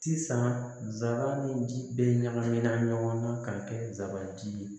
Sisan nsara ni ji bɛ ɲagaminna ɲɔgɔn na ka kɛ zaban ji ye